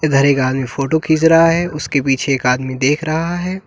इधर एक आदमी फोटो खींच रहा है उसके पीछे एक आदमी देख रहा है।